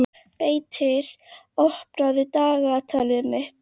Beitir, opnaðu dagatalið mitt.